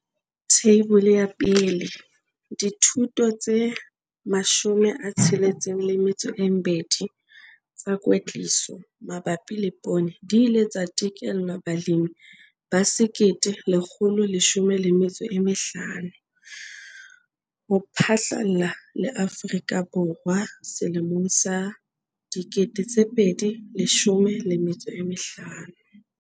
Theibole 1- Dithuto tse 62 tsa kwetliso mabapi le poone di ile tsa tekelwa balemi ba 1 115 ho phatlalla le Afrika Borwa selemong sa 2015.